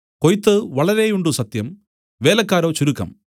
കൊയ്ത്ത് വളരെയുണ്ട് സത്യം വേലക്കാരോ ചുരുക്കം